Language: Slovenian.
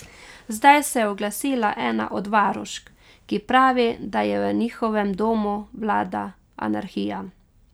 Zdaj se je oglasila ena od varušk, ki pravi, da je v njihovem domu vlada anarhija.